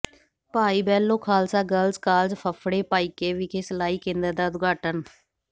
ਭਾਈ Behlo Khalsa Girls College Phaphre Bhaike ਵਿਖੇ ਸਿਲਾਈ ਕੇਂਦਰ ਦਾ ਉਦਘਾਟਨ